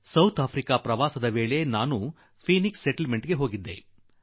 ನನ್ನ ದಕ್ಷಿಣ ಆಫ್ರಿಕಾ ಪ್ರವಾಸ ಕಾಲದಲ್ಲಿ ಫಿನಿಕ್ಸ್ ಸೆಟಲ್ ಮೆಂಟ್ ಗೆ ಹೋಗಿದ್ದೆ